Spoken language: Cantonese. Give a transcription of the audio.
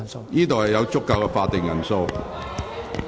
會議廳內現有足夠法定人數。